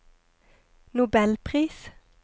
nobelpris